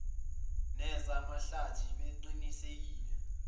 neza mahlathi beqinisekisile